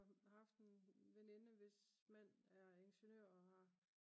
hun har haft en veninde hvis mand er ingeniør og har